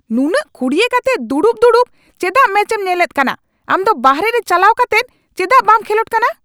ᱱᱩᱱᱟᱹᱜ ᱠᱷᱩᱲᱭᱟᱹ ᱠᱟᱛᱮᱫ ᱫᱩᱲᱩᱵ ᱫᱩᱲᱩᱵ ᱪᱮᱫᱟᱜ ᱢᱮᱪᱮᱢ ᱧᱮᱞᱮᱫ ᱠᱟᱱᱟ ? ᱟᱢ ᱫᱚ ᱵᱟᱦᱨᱮ ᱨᱮ ᱪᱟᱞᱟᱣ ᱠᱟᱛᱮᱫ ᱪᱮᱫᱟᱜ ᱵᱟᱢ ᱠᱷᱮᱞᱳᱰ ᱠᱟᱱᱟ ?